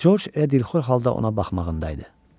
Corc elə dilxor halda ona baxmağında idi.